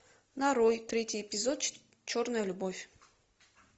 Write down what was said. нарой третий эпизод черная любовь